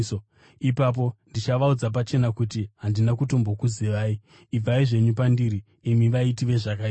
Ipapo ndichavaudza pachena kuti, ‘Handina kutombokuzivai. Ibvai zvenyu pandiri, imi vaiti vezvakaipa!’